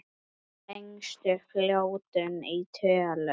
Lengstu fljótin í tölum